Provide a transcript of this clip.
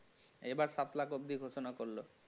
এইবার সাত লাখ অব্দি ঘোষণা করল